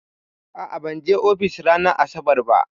A'a, ban je ofis ranar asabar ba.